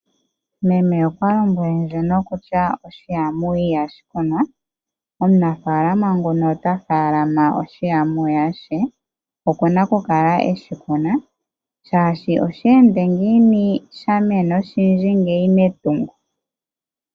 Meme okwa lombwele ndje kutya okahilili ihashi kunwa. Omunafaalama nguka ota faalama uuhilili we. Oku na okukala e wu kuna, oshoka oshe ende ngiini wu kale wa mena owundji metungo?